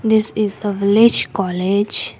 this is a village college.